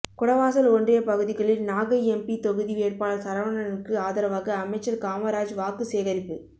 குடவாசல் ஒன்றிய பகுதிகளில் நாகை எம்பி தொகுதி வேட்பாளர் சரவணனுக்கு ஆதரவாக அமைச்சர் காமராஜ் வாக்கு சேகரிப்பு